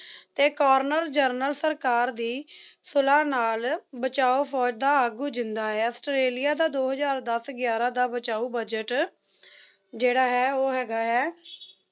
ਤੇ colonel general ਸਰਕਾਰ ਦੀ ਸੁਲਾਹ ਨਾਲ ਬਚਾਓ ਫੌਜ ਦਾ ਆਗੂ ਜਿੰਦਾ ਆਇਆ ਆਸਟ੍ਰੇਲੀਆ ਦਾ ਦੋ ਹਜ਼ਾਰ ਦਸ ਗਿਆਰਾਂ ਦਾ ਬਚਾਉ ਬਜ਼ਟ ਹ ਜਿਹੜਾ ਹੈ ਉਹ ਹੈਗਾ ਐ